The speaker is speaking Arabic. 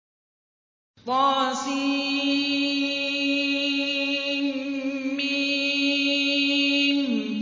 طسم